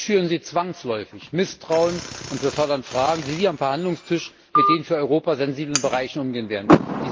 So schüren Sie zwangsläufig Misstrauen und befördern Fragen, wie Sie am Verhandlungstisch mit den für Europa sensiblen Bereichen umgehen werden.